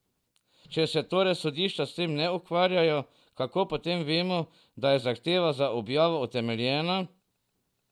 Če se torej sodišča s tem ne ukvarjajo, kako potem vemo, da je zahteva za objavo utemeljena?